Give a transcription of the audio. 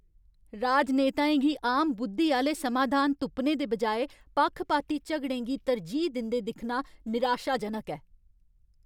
राजनेताएं गी आम बुद्धी आह्‌ले समाधान तुप्पने दे बजाए पक्खपाती झगड़ें गी तरजीह् दिंदे दिक्खना निराशाजनक ऐ।